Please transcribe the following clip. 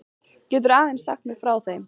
Geturðu aðeins sagt mér frá þeim?